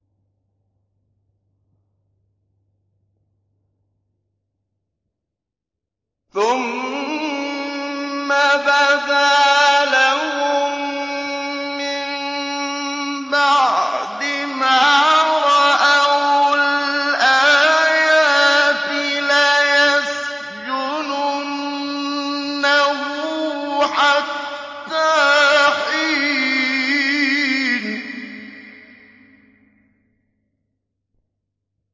ثُمَّ بَدَا لَهُم مِّن بَعْدِ مَا رَأَوُا الْآيَاتِ لَيَسْجُنُنَّهُ حَتَّىٰ حِينٍ